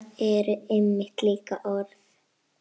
Nöfn eru einmitt líka orð.